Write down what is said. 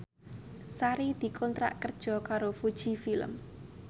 Sari dikontrak kerja karo Fuji Film